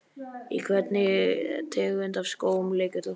Í hvernig tegund af skóm leikur þú?